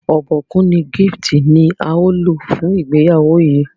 Obokun ni Gift ní ào ló fún ìgbéyàwó yí.